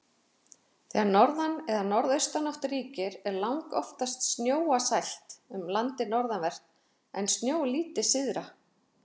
Þegar norðan- eða norðaustanátt ríkir er langoftast snjóasælt um landið norðanvert, en snjólítið syðra.